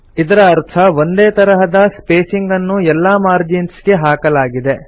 ಇದರ ಅರ್ಥ ಒಂದೇ ತರಹದ ಸ್ಪೇಸಿಂಗ್ ಅನ್ನು ಎಲ್ಲಾ ಮಾರ್ಜಿನ್ಸ್ ಗೆ ಹಾಕಲಾಗಿದೆ